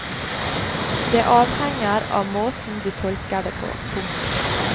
Det avhenger av måten du tolker det på. punktum